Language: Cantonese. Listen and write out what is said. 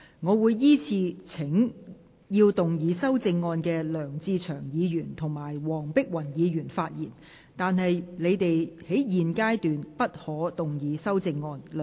我會依次請要動議修正案的梁志祥議員及黃碧雲議員發言；但他們在現階段不可動議修正案。